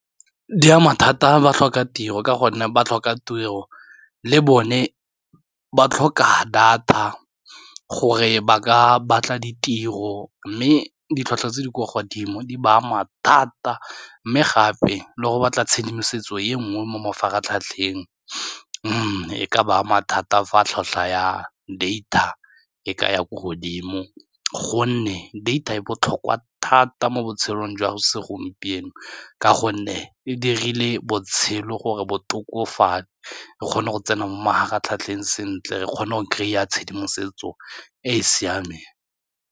Di ama thata ba tlhoka tiro ka gonne ba tlhoka tiro le bone ba tlhoka data gore ba ka batla ditiro, mme ditlhwatlhwa tse di kwa godimo di ba ama thata mme gape le go batla tshedimosetso e nngwe mo mafaratlhatlheng, mme e ka ba ama thata fa tlhotlhwa ya data e ka ya ko godimo gonne data e botlhokwa thata mo botshelong jwa segompieno, ka gonne e dirile botshelo gore bo tokofale re kgone go tsena mo mafaratlhatlheng sentle, re kgone go kry-a tshedimosetso e e siameng.